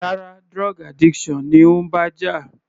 Rárá, drug addiction ni ó ń bá jà.